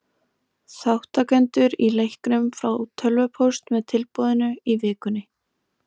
Þátttakendur í leiknum fá tölvupóst með tilboðinu í vikunni.